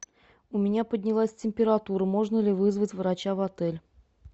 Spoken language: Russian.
у меня поднялась температура можно ли вызвать врача в отель